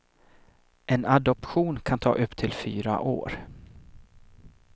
En adoption kan ta upp till fyra år.